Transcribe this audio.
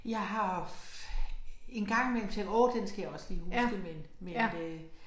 Jeg har en gang imellem tænkt åh den skal jeg også lige huske men men øh